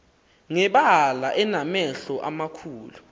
ngebala enamehlo amakhulu